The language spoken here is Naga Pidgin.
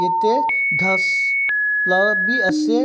ete ghass lah bhi ase.